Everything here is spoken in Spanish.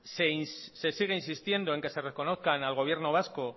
se sigue insistiendo en que se reconozca al gobierno vasco